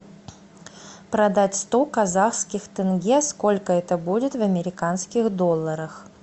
продать сто казахских тенге сколько это будет в американских долларах